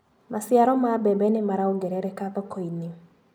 Maciaro ma mbembe nĩmarongerereka thokoinĩ.